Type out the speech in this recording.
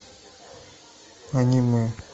аниме